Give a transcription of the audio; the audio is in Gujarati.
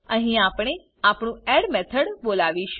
અહી આપને આપણું એડ મેથડ બોલાવીશું